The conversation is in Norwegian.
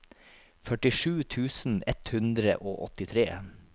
førtisju tusen ett hundre og åttitre